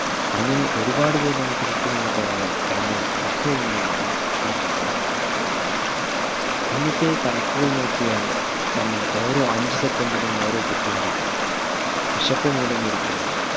അങ്ങനെ ഒരുപാട് പേർ നമുക്ക് ചുറ്റുമുള്ളപ്പോഴാണ് നമ്മൾ പലപ്പോഴുമായി ഈ ഭക്ഷണം waste ആകുന്നത് മുന്നത്തെ കണക്കുകൾ നോക്കിയാൽ ഓരോ അഞ്ചു second ലും ഓരോ കുട്ടി മരിക്കുന്നു